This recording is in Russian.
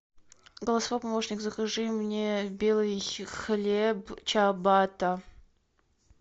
голосовой помощник закажи мне белый хлеб чиабатта